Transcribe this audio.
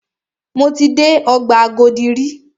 Mo ti dé ọgbà Agodi rí.